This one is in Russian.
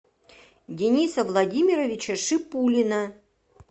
дениса владимировича шипулина